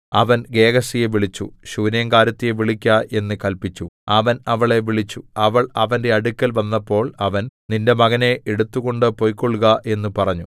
അവൻ ഗേഹസിയെ വിളിച്ചു ശൂനേംകാരത്തിയെ വിളിക്ക എന്ന് കല്പിച്ചു അവൻ അവളെ വിളിച്ചു അവൾ അവന്റെ അടുക്കൽ വന്നപ്പോൾ അവൻ നിന്റെ മകനെ എടുത്തുകൊണ്ട് പൊയ്ക്കൊൾക എന്ന് പറഞ്ഞു